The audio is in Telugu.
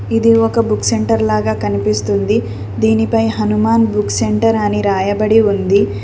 ఇది ఒక బుక్ సెంటర్ లాగా కనిపిస్తుంది దీనిపై హనుమాన్ బుక్ సెంటర్ అని రాయబడి ఉంది.